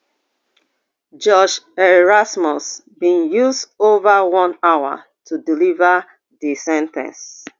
judge erasmus bin use ova one hour to deliver di sen ten ce